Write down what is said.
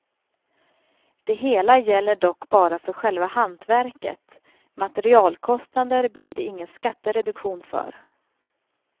Det hela gäller dock bara för själva hantverket, materialkostnader blir det ingen skattereduktion för.